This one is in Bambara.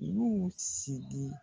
U y'u sigi